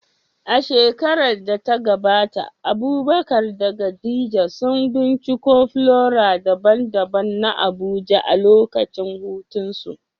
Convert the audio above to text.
A shekarar da ta gabata Abubakar da Khadija sun binciko flora daban-daban na Abuja a lokacin hutunsu.